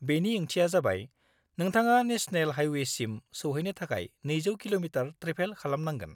बेनि ओंथिया जाबाय नोंथाङा नेशनेल हायवेसिम सौहैनो थाखाय 200 किल'मिटार ट्रेभेल खालामनांगोन।